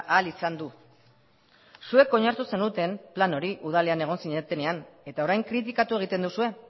ahal izan du zuek onartu zenuten plan hori udalean egon zinetenean eta orain kritikatu egiten duzue